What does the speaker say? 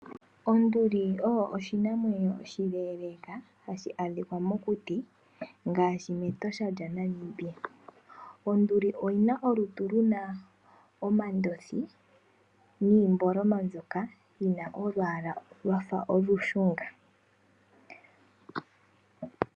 Onduli oyo oshinamwenyo oshileleka hashi adhika mokuti gaashi mEtosha lya Namibia. Onduli oyina olutu luna omandothi niimboloma ndjoka yina olwaala lwafa olushunga.